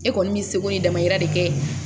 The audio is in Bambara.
E kɔni bɛ seko n'i damayira de kɛ